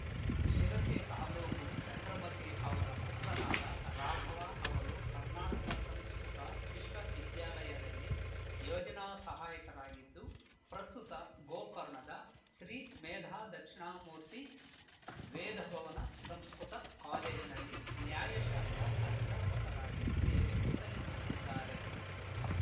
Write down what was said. ಶಿರಸಿ ತಾಲೂಕು ಚಂದ್ರಮತಿ ಅವರ ಪುತ್ರನಾದ ರಾಘವ ಅವರು ಕರ್ನಾಟಕ ಸಂಸ್ಕೃತ ವಿಶ್ವವಿದ್ಯಾಲಯದಲ್ಲಿ ಯೋಜನಾ ಸಹಾಯಕರಾಗಿದ್ದು ಪ್ರಸ್ತುತ ಗೋಕರ್ಣದ ಶ್ರೀ ಮೇಧಾದಕ್ಷಿಣಾಮೂರ್ತಿ ವೇದಭವನ ಸಂಸ್ಕೃತ ಕಾಲೇಜಿನಲ್ಲಿ ನ್ಯಾಯಶಾಸ್ತ್ರ ಅಧ್ಯಾಪಕರಾಗಿ ಸೇವೆ ಸಲ್ಲಿಸುತ್ತಿದ್ದಾರೆ